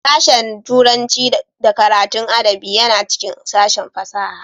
Sashen Turanci da karatun adabi yana cikin sashen fasaha